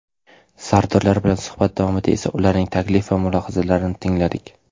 Sardorlar bilan suhbat davomida esa ularning taklif va mulohazalarini tingladik.